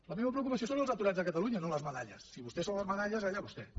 la meva preocupació són els aturats de catalunya no les medalles si vostès són les medalles allà vostès